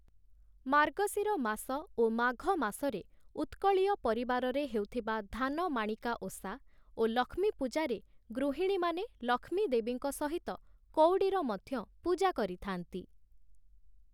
ମାର୍ଗଶିର ମାସ ଓ ମାଘ ମାସରେ ଉତ୍କଳୀୟ ପରିବାରରେ ହେଉଥିବା ଧାନମାଣିକା ଓଷା ଓ ଲକ୍ଷ୍ମୀ ପୂଜାରେ ଗୃହିଣୀମାନେ ଲକ୍ଷ୍ମୀ ଦେବୀଙ୍କ ସହିତ କଉଡ଼ିର ମଧ୍ୟ ପୂଜା କରିଥାନ୍ତି ।